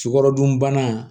Sukarodunbana